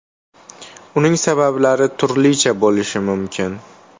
Uning sabablari turlicha bo‘lishi mumkin.